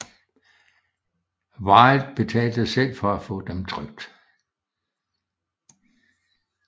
Wilde betalte selv for at få dem trykt